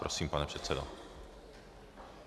Prosím, pane předsedo.